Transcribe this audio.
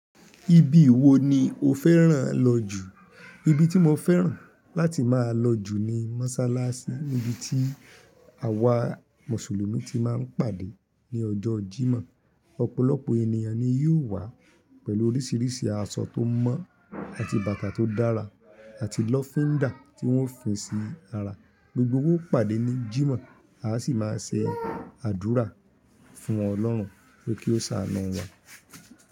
Ibi wo ni o fẹ́ràn lọ jù? Ibi tí mo fẹ́ràn láti máa lọ jù ni mọ́sálásí níbi tí àwa Mùsùlùmí ti máa ń pàdé ní ọjọ́ Jímọ̀. Ọ̀pọ̀lọpọ̀ ènìyàn ni yóò wá pẹ̀lú oríṣìíríṣìí aṣọ tó mọ́ àti bàtà tó dára àti lọ́fíndà tí wọ́n ó fi sí ara. Gbogbo wa o pàdé ní Jímọ̀ a sì máa ṣe àdúrà fún Ọlọ́run pé kó ṣàánú wa.